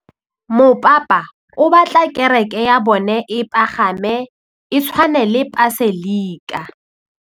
Mopapa o batla kereke ya bone e pagame, e tshwane le paselika.